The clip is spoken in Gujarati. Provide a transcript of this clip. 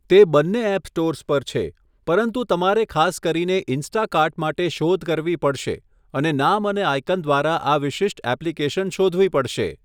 તે બંને એપ સ્ટોર્સ પર છે, પરંતુ તમારે ખાસ કરીને 'ઇન્સ્ટાકાર્ટ' માટે શોધ કરવી પડશે અને નામ અને આયકન દ્વારા આ વિશિષ્ટ એપ્લિકેશન શોધવી પડશે.